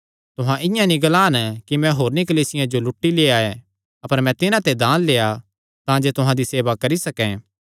तुहां इआं नीं ग्लान कि मैं होरनी कलीसियां जो लूटी लेआ ऐ अपर मैं तिन्हां ते दान लेआ तांजे तुहां दी सेवा करी सकैं